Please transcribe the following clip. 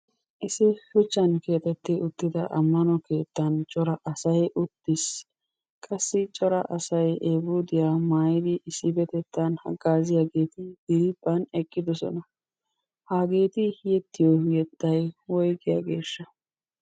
Issi shuchchan keexetti uttida ammano keettan cora asay uttiis. Qassi asay eefuudiya maayidi issippetettan haggaaziyageeti eqqidosona. Hageeti yexxiyo yettay woygiyageeshsha?